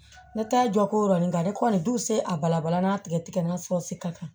Ne t'a jɔ ko nin ka ne kɔni dun se a balabala n'a tigɛ tigɛra ka taa